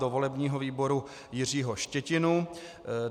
Do volebního výboru Jiřího Štětinu.